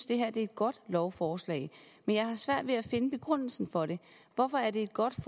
det her er et godt lovforslag men jeg har svært ved at finde begrundelsen for det hvorfor er det et godt